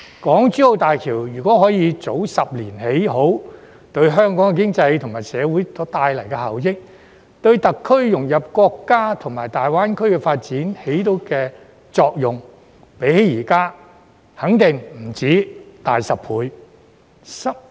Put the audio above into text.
港珠澳大橋如果可以早10年建成，對香港經濟及社會所帶來的效益，以及對特區融入國家及大灣區發展所起的作用，相較現在肯定不止大10倍。